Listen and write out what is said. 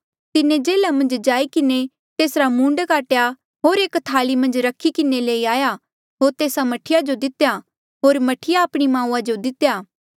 तिन्हें जेल्हा मन्झ जाई किन्हें तेसरा मूंड काटेया होर एक थाली मन्झ रखी किन्हें लई आया होर तेस्सा मह्ठी जो दितेया होर मह्ठीऐ आपणी माऊआ जो दितेया